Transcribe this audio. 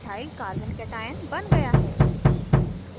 ethyl carbocation ch3ch2 ^+ बन गया है